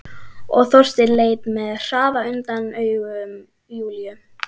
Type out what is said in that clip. Og Þorsteinn leit með hraði undan augum Júlíu.